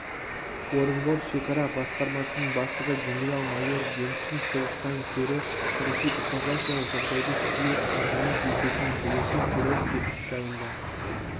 орынбор шекара басқармасының бастығы генерал-майор генстің соғыстан көрі тарихи этнографиялық жағдайды сүйе әңгіме ететінін білетін перовский іс жайында